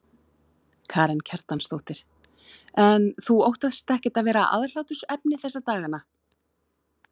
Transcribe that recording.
Karen Kjartansdóttir: En þú óttast ekkert að verða aðhlátursefni þessa dagana?